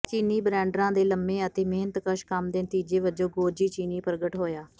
ਚੀਨੀ ਬ੍ਰੈਂਡਰਾਂ ਦੇ ਲੰਬੇ ਅਤੇ ਮਿਹਨਤਕਸ਼ ਕੰਮ ਦੇ ਨਤੀਜੇ ਵਜੋਂ ਗੋਜੀ ਚੀਨੀ ਪ੍ਰਗਟ ਹੋਇਆ